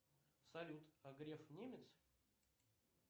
салют а греф немец